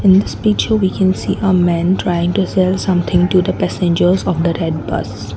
in this speech you begins a man trying to sell something to the passengers of the red bus.